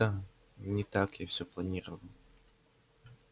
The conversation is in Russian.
да не так я всё планировал